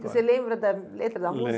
E Você lembra da letra da música?